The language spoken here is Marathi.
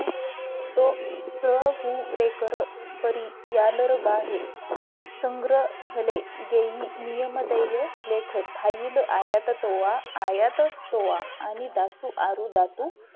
तो सहुरेकर परी यालर बाहे संग्र हले जे नियम देय लेख थाईल आयात तोवा आयात तोवा आणि दासू आरू दासो